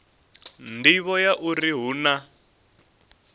nḓivho ya uri hu na